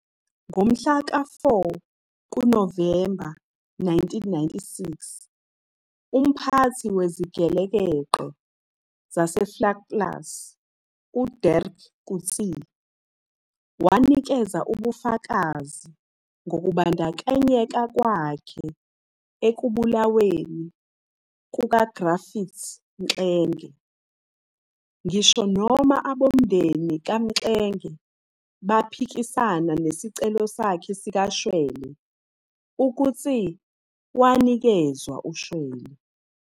Ngomhlaka-4 kuNovemba 1996, umphathi wezigelekeqe zaseVlakplaas, uDirk Coetzee, wanikeza ubufakazi ngokubandakanyeka kwakhe ekubulaweni kukaGriffiths Mxenge. Ngisho noma abomndeni kaMxenge baphikisana nesicelo sakhe sikashwele, uCoetzee wanikezwa ushwele.